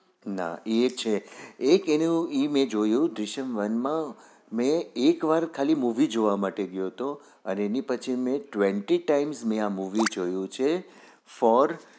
ના એ છે એક એનું ઈ મેં જોયું દૃશ્યમ one મેં એક વાર હું movie જોવા માટે ગયો હતો એના પછી મેં twenty time આ મુવી જોયું છે ફોર